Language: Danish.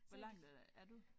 Hvor langt øh er du?